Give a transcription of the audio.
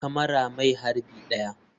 Kamara mai harbi 1.